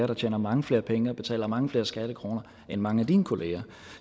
der tjener mange flere penge og betaler mange flere skattekroner end mange af dine kolleger